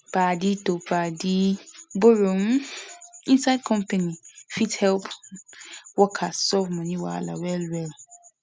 padi to padi borrow um inside company fit help um workers solve money wahala well well